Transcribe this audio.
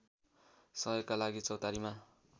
सहयोगका लागि चौतारीमा